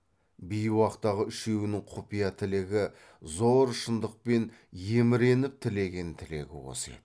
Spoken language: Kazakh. бейуақтағы үшеуінің құпия тілегі зор шындықпен еміреніп тілеген тілегі осы еді